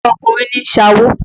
Ọkùnrin ní ń ṣawo.